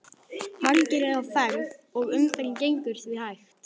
Margir eru á ferð og umferðin gengur því hægt.